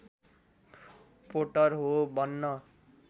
Potter हो भन्न